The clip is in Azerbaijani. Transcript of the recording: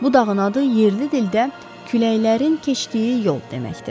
Bu dağın adı yerli dildə küləklərin keçdiyi yol deməkdir.